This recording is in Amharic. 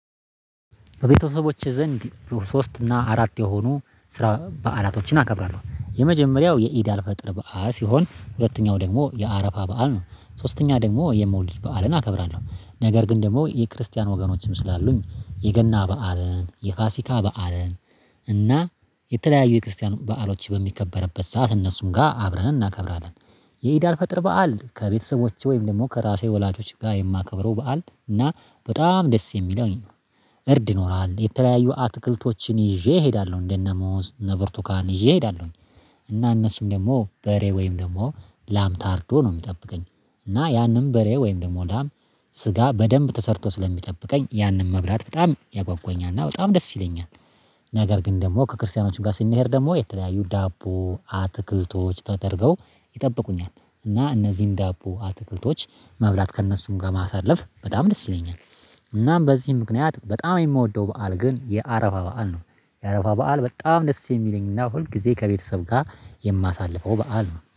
በቤተሰቦቼ ዘንድ ሶስት እና አራት የሆኑ ስራ በዓላቶችን አከብራለሁ የመጀመሪያው የኢዳል ፈጠር በዓል ሲሆን ሁለተኛው ደግሞ የአረፋ በዓል ነው። ሶስተኛ ደግሞ የመውለድ በዓልን አከብራለሁ ነገር ግን ደግሞ የክርስቲያን ወገኖችም ስላሉኝ የገና በዓልን የፋሲካ በዓልን እና የተለያዩ የክርስቲያኑ በዓሎች በሚከበርበት ሰዓት እነሱን ጋር አብረን እናከብራለን። የኢዳል ፈጥር በዓል ከቤተሰቦቼ ወይም ደግሞ ከራሴ ወላጆች ጋር የማከብረው በዓል እና በጣም ደስ የሚለውኝ። እርድ ይኖራል የተለያዩ አትክልቶችን ይዤ እሄዳለሁ እንደነ ሙዝ እነ በርቱካን እዬ እሄዳለሁኝ። እና እነሱም ደግሞ በሬ ወይም ደግሞ ላም ታርዶ ነው የሚጠብቀኝ። እና ያንን በሬ ወይም ደግሞ ላም ስጋ በደንብ ተሰርቶ ስለሚጠብቀኝ ያንን መብላት በጣም ያጓጉኛል እና በጣም ደስ ይለኛል። እኛ ጋር ግን ደግሞ ከክርስቲያኖች ጋር ስንሄድ ደግሞ የተለያዩ ዳቦ አትክልቶች ተደርገው ይጠብቁኛል። እና እነዚህን ዳቦ አትክልቶች መብላት ከእነሱም ጋር ማሳለፍ በጣም ደስ ይለኛል። እናም በዚህ ምክንያት በጣም የምወደው በዓል ግን የአረፋ በዓል ነው። የአረፋ በዓል በጣም ደስ የሚለኝና ሁል ጊዜ ከቤተሰብ ጋር የማሳልፈው በዓል ነው